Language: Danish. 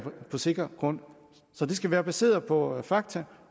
på sikker grund så det skal være baseret på fakta